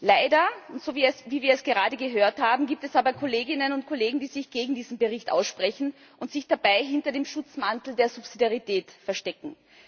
Leider wie wir es gerade gehört haben gibt es aber Kolleginnen und Kollegen, die sich gegen diesen Bericht aussprechen und sich dabei hinter dem Schutzmantel der Subsidiarität verstecken.